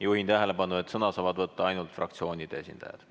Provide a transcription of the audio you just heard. Juhin tähelepanu, et sõna saavad võtta ainult fraktsioonide esindajad.